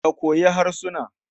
Ka koyi harsuna.